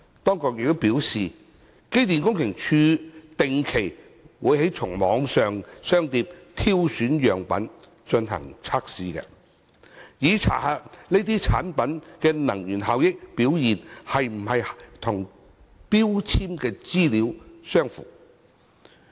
當局表示，機電工程署定期從網上商店挑選樣本進行測試，以查核有關產品的能源效益表現是否與標籤資料相符。